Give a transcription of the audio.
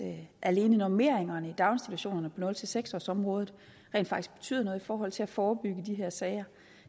at alene normeringerne i daginstitutionerne på nul seks årsområdet rent faktisk betyder noget i forhold til at forebygge de her sager